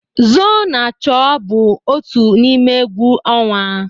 Zoo-na-chọọ bụ otu n'ime egwu ọnwa.